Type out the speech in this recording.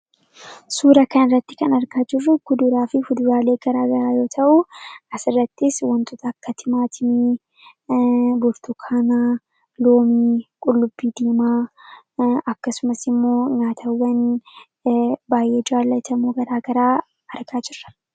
Suura kanarratti kan argaa jirru kuduraa fi fuduraalee garaa garaa yoo ta'u, asirrattis waantonni akka timaatimii, burtukaana, loomii, qullubbii diimaa akkasumas immoo nyaatawwan baay'ee jaallatamoo garaa garaa argaa jirra.